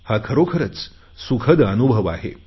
हा खरोखरच सुखद अनुभव आहे